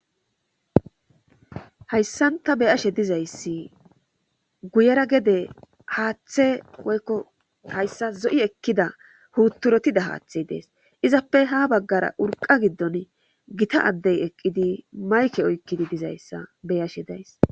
Hayssan ta be7ashe dizayssi guyera gede haathe woykko hayssan zo7i ekkida puuturotida haathey Des izappe ha baggara urqqa giddoni Gita addey eqqidi mayke oykkidi dizayssa beyashe days